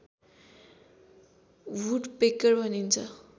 woodpecker भनिन्छ